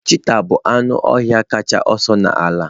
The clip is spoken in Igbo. Cheetah bụ anụ ọhịa kacha ọsọ n'ala